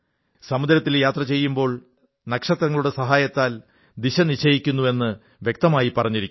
സമുദ്രത്തിൽ യാത്ര ചെയ്യുമ്പോൾ നക്ഷത്രങ്ങളുടെ സഹായത്താൽ ദിശ നിശ്ചയിക്കുന്നു എന്ന് വ്യക്തമായി പറഞ്ഞിരിക്കുന്നു